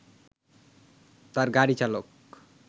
তার গাড়ি চালক